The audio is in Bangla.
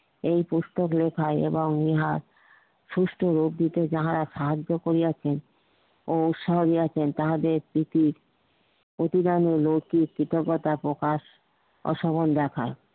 এই পুস্তক লেখাই এবং ইহাই সুস্থ রোগী যাহারা সাহায্য করিয়াছেন ও তাহাদের প্রতি প্রতিদান ও লৈখিক কৃতজ্ঞতা প্রকাশ দেখায়